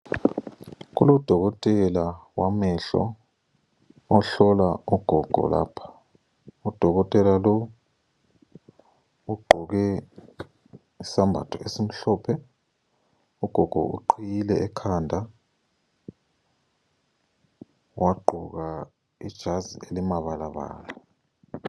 Kulodokotela wamehlo ohlola ogogo lapha, udokotela lowu ugqoke isembatho esimhlophe, ugogo uqhiyile ekhanda wagqoka ijazi elimabalabala.